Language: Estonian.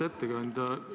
Auväärt ettekandja!